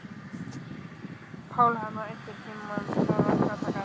Pálhanna, einhvern tímann þarf allt að taka enda.